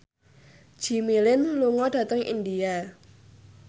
Jimmy Lin lunga dhateng India